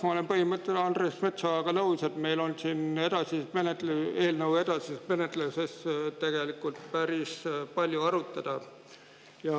Ma olen põhimõtteliselt Andres Metsojaga nõus, et meil on siin eelnõu edasises menetluses päris palju arutada.